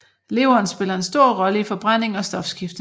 Leveren spiller en stor rolle i forbrænding og stofskifte